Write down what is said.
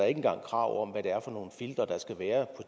engang krav om hvad det er for nogle filtre der skal være